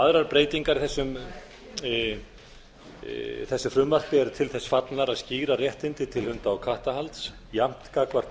aðrar breytingar á þessu frumvarpi eru til þess fallnar að skýra réttindi til hunda og kattahalds jafnt gagnvart